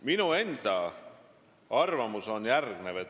Minu enda arvamus on järgmine.